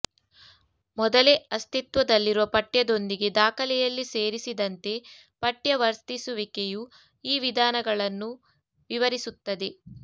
ಮೊದಲೇ ಅಸ್ತಿತ್ವದಲ್ಲಿರುವ ಪಠ್ಯದೊಂದಿಗೆ ದಾಖಲೆಯಲ್ಲಿ ಸೇರಿಸಿದಂತೆ ಪಠ್ಯ ವರ್ತಿಸುವಿಕೆಯು ಈ ವಿಧಾನಗಳನ್ನು ವಿವರಿಸುತ್ತದೆ